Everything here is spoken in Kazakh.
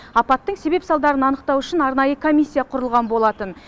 апаттың себеп салдарын анықтау үшін арнайы комиссия құрылған болатын